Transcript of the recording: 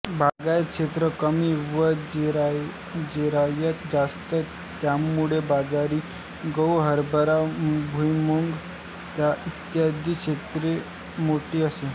बागायत क्षेत्र कमी व जिरायत जास्त त्यामुळे बाजरी गहूहरबरा भुईमुग इत्यादींचे क्षेत्र मोठे असे